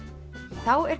þá er